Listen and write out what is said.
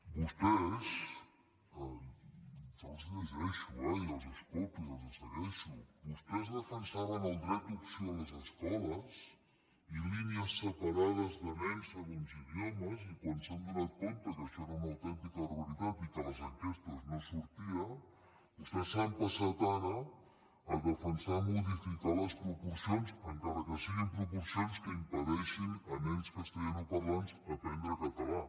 vostès jo els llegeixo eh i els escolto i els segueixo vostès defensaven el dret d’opció a les escoles i línies separades de nens segons idiomes i quan s’han adonat que això era una autèntica barbaritat i que a les enquestes no sortia vostès s’han passat ara a defensar modificar les proporcions encara que siguin proporcions que impedeixin a nens castellanoparlants aprendre català